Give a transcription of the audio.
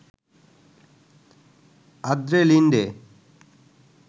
Andre Linde